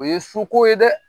O ye suko ye dɛ